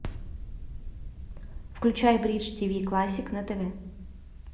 включай бридж тиви классик на тв